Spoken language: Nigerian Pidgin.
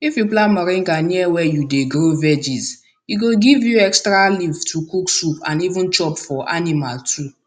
if you plant moringa near where you dey grow veggies e go give you extra leaf to cook soup and even chop for animal too